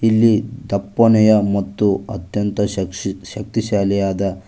ಇಲ್ಲಿ ದಪ್ಪನೆಯ ಮತ್ತು ಅತ್ಯಂತ ಶಕ್ಷಿ ಶಕ್ತಿಶಾಲಿಯಾದ--